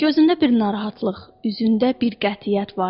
Gözündə bir narahatlıq, üzündə bir qətiyyət vardı.